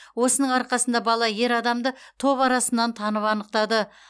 осының арқасында бала ер адамды топ арасынан танып анықтады